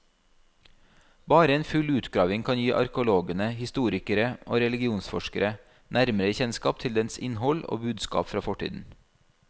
Bare en full utgravning kan gi arkeologene, historikere og religionsforskere nærmere kjennskap til dens innhold og budskap fra fortiden.